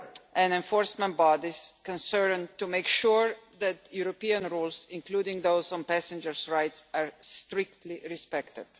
and enforcement bodies concerned, to make sure that European rules, including those on passengers' rights, are strictly respected.